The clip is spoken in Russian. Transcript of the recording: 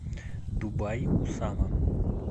дубай усама